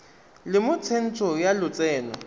le mo tsentsho ya lotseno